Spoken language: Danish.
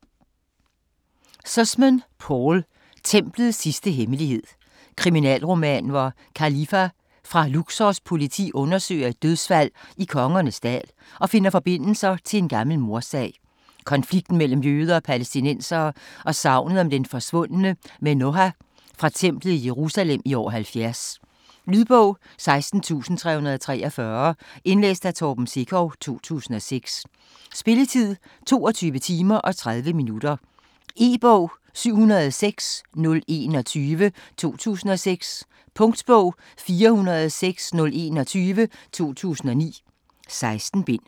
Sussman, Paul: Templets sidste hemmelighed Kriminalroman, hvor Khalifa fra Luxors politi undersøger et dødsfald i Kongernes Dal og finder forbindelser til en gammel mordsag, konflikten mellem jøder og palæstinensere og sagnet om den forsvundne menoha fra templet i Jerusalem i år 70. Lydbog 16343 Indlæst af Torben Sekov, 2006. Spilletid: 22 timer, 30 minutter. E-bog 706021 2006. Punktbog 406021 2009. 16 bind.